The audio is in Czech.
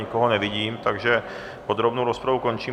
Nikoho nevidím, takže podrobnou rozpravu končím.